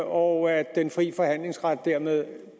og at den fri forhandlingsret dermed